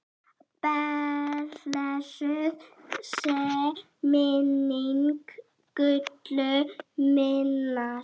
Blessuð sé minning Gullu minnar.